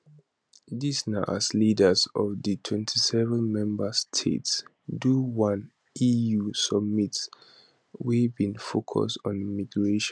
dis na as leaders of di 27 member states do one eu summit wey bin focus on migration